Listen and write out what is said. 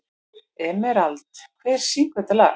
Emerald, hver syngur þetta lag?